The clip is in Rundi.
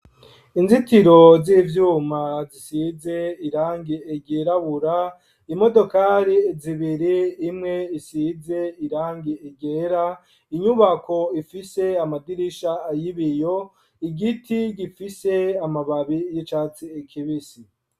Inzitiro z'ivyuma zisize irangi ryirabura, imodokari zibiri, imwe isize irangi ryera, inyubako ifise amadirisha y'ibiyo, igiti gifise amababi y'icatsi ikibisi.